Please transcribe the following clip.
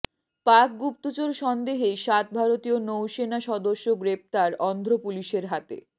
পাক গুপ্তচর সন্দেহে সাত ভারতীয় নৌসেনা সদস্য গ্রেফতার অন্ধ্র পুলিশের হাতে